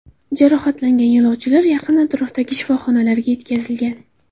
Jarohatlangan yo‘lovchilar yaqin atrofdagi shifoxonalarga yetkazilgan.